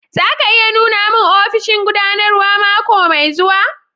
Za ki iya nuna mun ofishin gudanarwa mako mai zuwa?